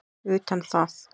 utan það.